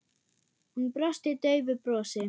Hún brosti daufu brosi.